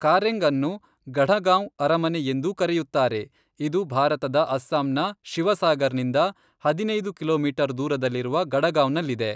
ಕಾರೆಂಗ್ಅನ್ನು ಗಢಗಾಂವ್ ಅರಮನೆ ಎಂದೂ ಕರೆಯುತ್ತಾರೆ, ಇದು ಭಾರತದ ಅಸ್ಸಾಂನ ಶಿವಸಾಗರ್ನಿಂದ ಹದಿನೈದು ಕಿಲೋಮೀಟರ್ ದೂರದಲ್ಲಿರುವ ಗಢಗಾಂವ್ನಲ್ಲಿದೆ.